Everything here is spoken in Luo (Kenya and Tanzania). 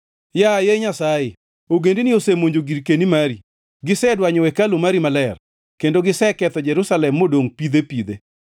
Yaye Nyasaye, ogendini osemonjo girkeni mari; gisedwanyo hekalu mari maler, kendo giseketho Jerusalem modongʼ pidhe pidhe.